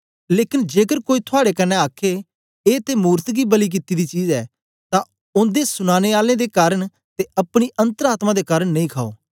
लेकन जेकर कोई थुआड़े कन्ने आखे ए ते मूरत गी बलि कित्ती दी चीज ऐ तां ओदे सुनानें आले दे कारन ते अपनी अन्तर आत्मा दे कारन नेई खाओ